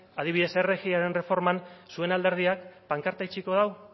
adibidez rgiren erreforman zuen alderdiak pankarta edukiko du